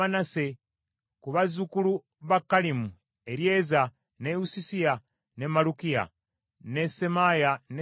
Ku bazzukulu ba Kalimu: Eryeza, ne Isusiya, ne Malukiya, ne Semaaya, ne Simyoni,